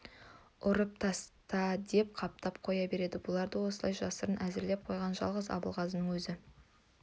ұрып таста деп қаптап қоя берді бұларды осылай жасырын әзірлеп қойған жалғыз абылғазының өзі